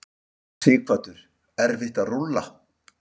Sighvatur: Erfitt að rúlla?